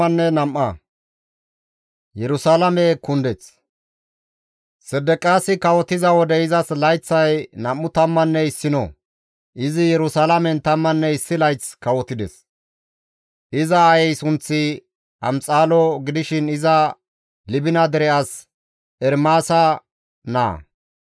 Sedeqiyaasi kawotiza wode izas layththay nam7u tammanne issino; izi Yerusalaamen tammanne issi layth kawotides; iza aayey sunththi Amxalo gidishin iza Libina dere as Ermaasa naa.